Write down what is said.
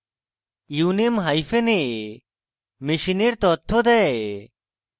uname hyphen a machine তথ্য দেয়